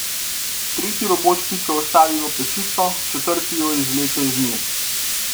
Tretji robot pico vstavi v pečico, četrti jo izvleče iz nje.